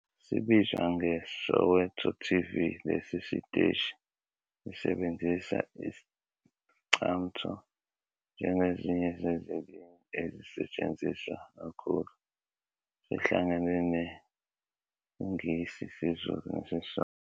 Sibizwa ngeSowetoTV, lesi siteshi sisebenzisa Iscamtho njengezinye zezilimi ezisetshenziswa kakhulu, sihlangene nesiNgisi, isiZulu nesiSotho.